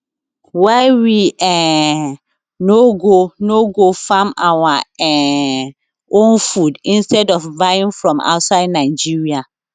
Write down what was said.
why we um no go no go farm our um own food instead of buying from outside nigeria